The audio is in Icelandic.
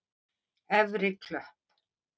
Efri Klöpp